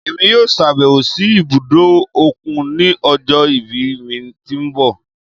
Èmi yóò ṣàbẹ̀wò sí ibùdó òkun ní ọjọ́ ìbí mi tí ń bọ̀.